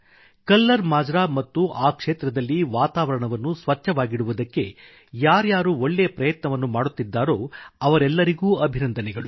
colour Majra ಮತ್ತು ಆ ಕ್ಷೇತ್ರದಲ್ಲಿ ವಾತಾವರಣವನ್ನು ಸ್ವಚ್ಛವಾಗಿಡುವುದಕ್ಕೆ ಯಾರ್ಯಾರು ಒಳ್ಳೇ ಪ್ರಯತ್ನವನ್ನು ಮಾಡುತ್ತಿದ್ದಾರೋ ಅವರೆಲ್ಲರಿಗೂ ಅಭಿನಂದನೆಗಳು